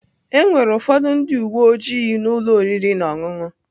Enwere ụfọdụ ndị uwe ojii na ụlọ oriri na ọṅụṅụ.